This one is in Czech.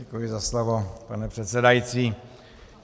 Děkuji za slovo, pane předsedající.